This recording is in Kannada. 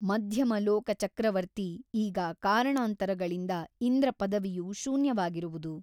ಮಧ್ಯಮಲೋಕಚಕ್ರವರ್ತಿ ಈಗ ಕಾರಣಾಂತರಗಳಿಂದ ಇಂದ್ರಪದವಿಯು ಶೂನ್ಯವಾಗಿರುವುದು.